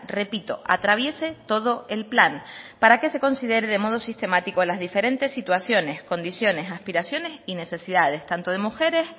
repito atraviese todo el plan para que se considere de modo sistemático las diferentes situaciones condiciones aspiraciones y necesidades tanto de mujeres